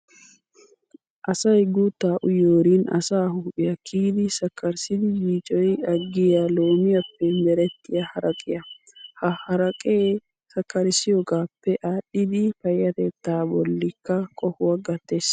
Asayi guuttaa uyiyoorinne asaa huuphiyaa kiyidi sakkarissidi yiicoyi aggiyaa loomiyaappe merettiyaa haraqiyaa. Ha haraqee sakkarissiyoogaappe aadhdhidi payyatettaa bollikka qohuwaa gattes.